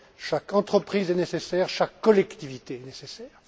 chaque entreprise est nécessaire, chaque collectivité est nécessaire.